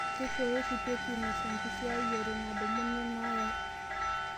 keishooyo oshi pepinos enkisiayiare nadumuni neyae